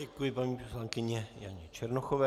Děkuji paní poslankyni Janě Černochové.